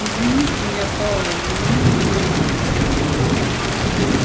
извините меня пауэлл но я не верю